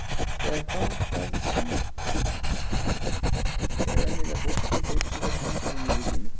Eða hvað það nú er sem venjulega fólkið tekur sér fyrir hendur í lífi sínu.